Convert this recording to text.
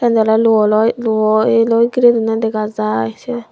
yod oly lu o loi luo yeloi gire donne degajai se.